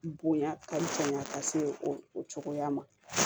Bonya ka janya ka se o o cogoya ma